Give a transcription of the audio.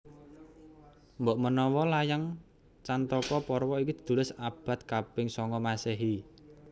Mbokmenawa layang Cantaka Parwa iki ditulis ing abad kaping songo Masèhi